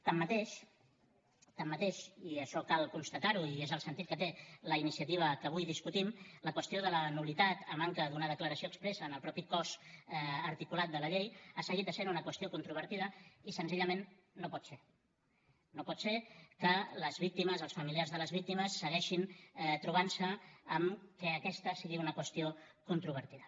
tanmateix i això cal constatar ho i és el sentit que té la iniciativa que avui discutim la qüestió de la nul·litat a manca d’una declaració expressa en el mateix cos articulat de la llei ha seguit essent una qüestió controvertida i senzillament no pot ser no pot ser que les víctimes els familiars de les víctimes segueixin trobant se amb que aquesta sigui una qüestió controvertida